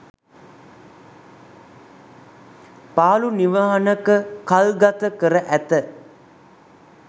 පාළු නිවහනක කල්ගත කර ඇත